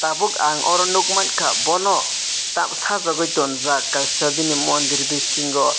tabuk ang oro nugmanka Bono tamoxifen sajuk oi tonjak kaisa bini mondir bisingo.